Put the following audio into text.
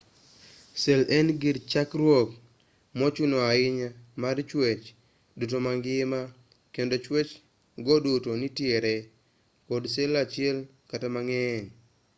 sel en gir chakruok mochuno ahinya mar chwech duto mangima kendo chwech go duto nitiere kod sel achiel kata mang'eny